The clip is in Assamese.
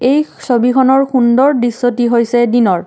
এই ছবিখনৰ সুন্দৰ দৃশ্যটি হৈছে দিনৰ।